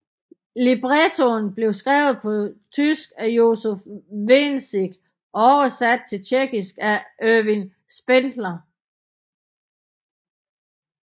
Librettoen blev skrevet på tysk af Josef Wenzig og oversat til tjekkisk af Ervin Spindler